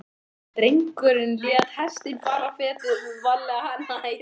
Drengurinn lét hestinn fara fetið, varlega, nær.